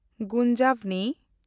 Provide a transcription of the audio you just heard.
ᱜᱩᱱᱡᱟᱵᱷᱱᱤ